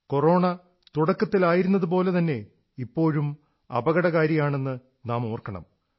corona തുടക്കത്തിലായിരുന്നതുപോലെ തന്നെ ഇപ്പോഴും അപകടകാരിയാണെന്ന് നാം ഓർക്കണം